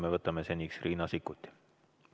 Me võtame seniks Riina Sikkuti.